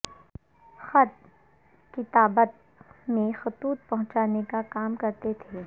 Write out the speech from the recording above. خط کتابت میں خطوط پہنچانے کا کام کرتے تھے